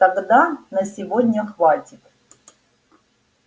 тогда на сегодня хватит